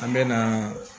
An bɛ na